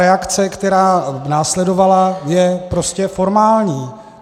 Reakce, která následovala, je prostě formální.